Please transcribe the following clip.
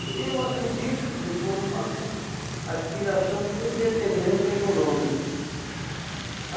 Eu acredito que por uma aspiração de independência econômica.